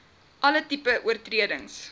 alle tipes oortredings